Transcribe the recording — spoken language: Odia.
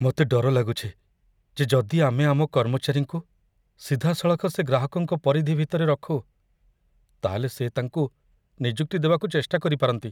ମୋତେ ଡର ଲାଗୁଛି ଯେ ଯଦି ଆମେ ଆମ କର୍ମଚାରୀଙ୍କୁ ସିଧାସଳଖ ସେ ଗ୍ରାହକଙ୍କ ପରିଧି ଭିତରେ ରଖୁ, ତା'ହେଲେ ସେ ତାଙ୍କୁ ନିଯୁକ୍ତି ଦେବାକୁ ଚେଷ୍ଟା କରିପାରନ୍ତି।